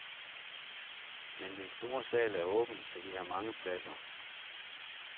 Men den store sal er åben, så vi har mange pladser.